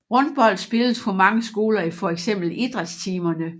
Rundbold spilles på mange skoler i fx idrætstimerne